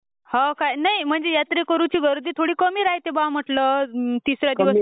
हो काय...नाही म्हणजे यात्रेकरूंची गर्दी कमी राह्यत्ये...बा म्हटलं..तिसऱ्यादिवशी....